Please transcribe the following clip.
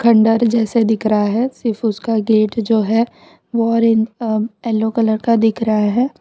खंडहर जैसे दिख रहा है सिर्फ उसका गेट जो है वो ऑरेंज अ येलो कलर का दिख रहा है।